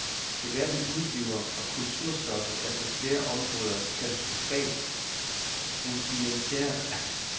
Debatten udebliver, og kulturstoffet er på flere områder katastrofalt rudimentært.